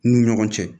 N'u ni ɲɔgɔn cɛ